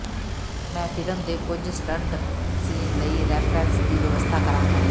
ਮੈਂ ਫਿਲਮ ਦੇ ਕੁਝ ਸਟੰਟ ਸੀਨ ਲਈ ਰੈਫਰੈਂਸ ਦੀ ਵਿਵਸਥਾ ਕਰਾਂਗਾ